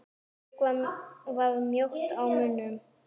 Eiríkur var mjótt á munum?